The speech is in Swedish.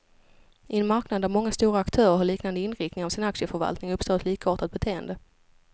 I en marknad där många stora aktörer har liknande inriktning av sin aktieförvaltning, uppstår ett likartat beteende.